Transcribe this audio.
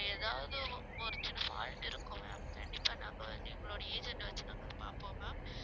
ஏதாவது ஒரு சின்ன fault இருக்கும் ma'am கண்டிப்பா நாங்க வந்து எங்களுடைய agent அ வச்சு நாங்க அதை பார்ப்போம் ma'am